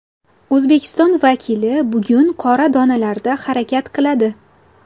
O‘zbekiston vakili bugun qora donalarda harakat qiladi.